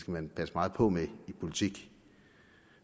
man passe meget på med i politik